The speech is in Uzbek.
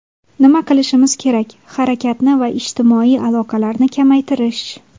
Nima qilishimiz kerak - harakatni va ijtimoiy aloqalarni kamaytirish.